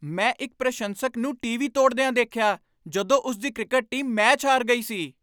ਮੈਂ ਇੱਕ ਪ੍ਰਸ਼ੰਸਕ ਨੂੰ ਟੀਵੀ ਤੋੜਦਿਆਂ ਦੇਖਿਆ ਜਦੋਂ ਉਸ ਦੀ ਕ੍ਰਿਕਟ ਟੀਮ ਮੈਚ ਹਾਰ ਗਈ ਸੀ।